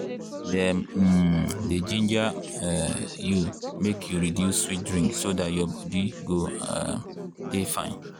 dem um dey ginger um you make you reduce sweet drink so dat your body go um dey fine.